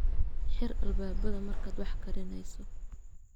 Xir albaabbada markaad wax karinayso.